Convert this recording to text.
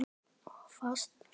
Of fast.